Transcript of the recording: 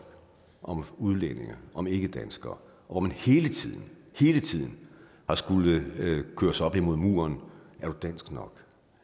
om udlændinge og ikkedanskere hvor man hele tiden hele tiden har skullet køres op imod muren er du dansk nok